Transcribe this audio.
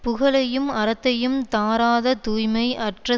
புகழையும் அறத்தையும் தாராத தூய்மை அற்ற